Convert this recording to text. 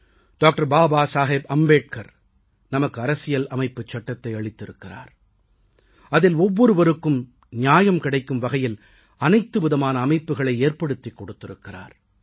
doctor Baba Saheb Ambedkar நமக்கு அரசியல் அமைப்புச் சட்டத்தை அளித்திருக்கிறார் அதில் ஒவ்வொருவருக்கும் நியாயம் கிடைக்கும் வகையில் அனைத்து விதமான அமைப்புகளை ஏற்படுத்திக் கொடுத்திருக்கிறார்